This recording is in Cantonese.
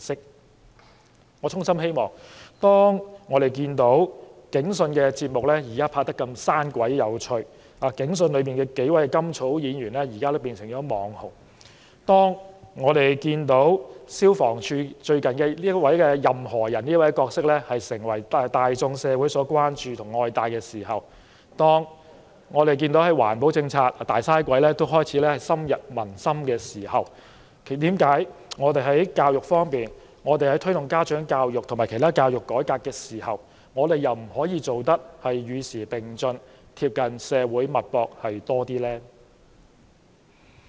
當我們看到現在的"警訊"節目拍攝得如此生動諧趣，"警訊"內的數位甘草演員頓成"網紅"；當我們看到消防處最近推出的"任何仁"角色成為大眾社會關注，受到愛戴；當我們看到推行環保政策的"大嘥鬼"也開始深入民心時，為何我們在教育改革方面，在推動家長教育方面，卻不能做到與時並進，更貼近社會脈搏呢？